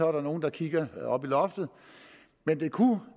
er der nogle der kigger op i loftet men det kunne